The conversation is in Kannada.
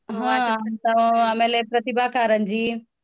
ಹಾ ಅಂತ ಆಮೇಲೆ ಪ್ರತಿಬಾ ಕಾರಂಜಿ.